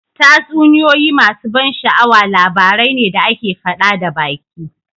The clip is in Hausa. Tatsuniyoyi masu ban sha'awa labarai ne da ake faɗa da baki